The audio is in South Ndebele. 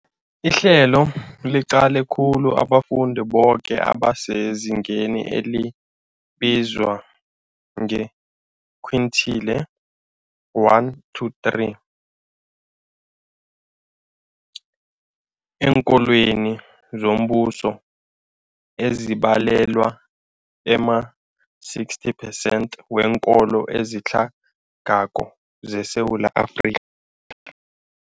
Ihlelo liqale khulu abafundi boke abasezingeni elibizwa nge-quintile 1-3 eenkolweni zombuso, ezibalelwa ema-60 percent weenkolo ezitlhagako zeSewula Afrika.